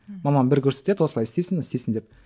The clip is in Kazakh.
мамам бір көрсетеді осылай істейсің істейсің деп